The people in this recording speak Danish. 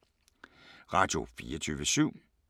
Radio24syv